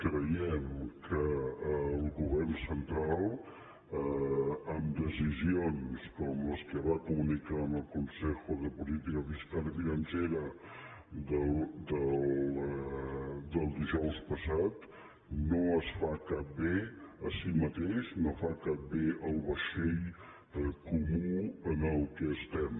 creiem que el govern central amb decisions com les que va comunicar en el consejo de política fiscal y financiera del dijous passat no es fa cap bé a si mateix no fa cap bé al vaixell comú en el qual estem